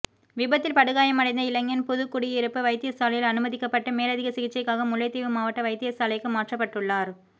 விபத்தில் படுகாயமடைந்த இளைஞன் புதுக்குடியிருப்பு வைத்தியசாலையில் அனுமதிக்கப்பட்டு மேலதிக சிகிச்சைக்காக முல்லைத்தீவு மாவட்ட வைத்தியசாலைக்கு மாற்றப்பட்டுள்ளார்